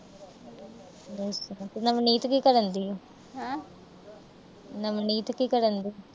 ਨਵਨੀਤ ਕੀ ਕਰਨ ਡਈ ਆ। ਨਵਨੀਤ ਕੀ ਕਰਨ ਡਈ ਆ।